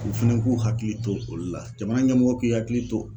U fɛnɛ k'u hakili to olu la jamana ɲɛmɔgɔ k'i hakili to